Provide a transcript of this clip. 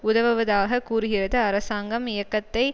உதவுவதாக கூறுகிறது அரசாங்கம் இயக்கத்தை